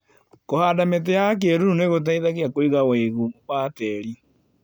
Kũhanda mĩtĩ ya kĩruru nĩgũteithagia kũiga wĩigũ wa tĩri.